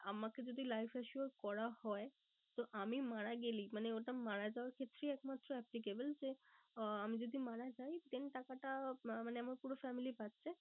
আমাকে যদি life assure করা হয়। তো আমি মারা গেলেই মানে ওটা মারা যাওয়ার ক্ষেত্রেই একমাত্র applicable যে আহ আমি যদি মারা যাই then টাকাটা মানে আমার পুরো family পাচ্ছে।